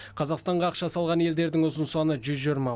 қазақстанға ақша салған елдердің ұзын саны жүз жиырма